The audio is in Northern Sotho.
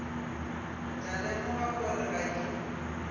tla lemoga gore ga ke